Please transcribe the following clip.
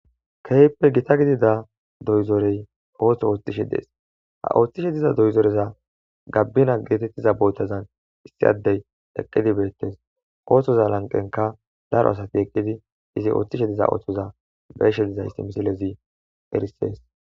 Keyppe gita gidida doyzorey ooththo ooththishe dees ha ooththishe diza doyzoreza gabbina geetettiza bootazan issi addey eqqidi beettes ooththoza lanqenka daro asati eqqidi izi ooththishe diza ooththoza beshe dizaysi misilezi erisees